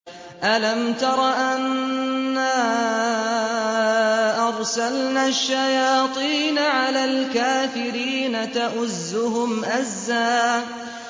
أَلَمْ تَرَ أَنَّا أَرْسَلْنَا الشَّيَاطِينَ عَلَى الْكَافِرِينَ تَؤُزُّهُمْ أَزًّا